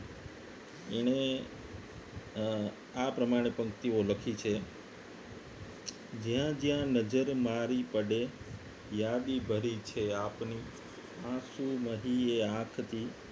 એને અમ આ પ્રમાણે પંક્તિઓ લખી છે જ્યાં જ્યાં નજર મારી પડે યાદી ભરી છે આપની આંસુ નહીં એ આંખથી